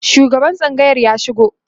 shugaban tsangayar ya shigo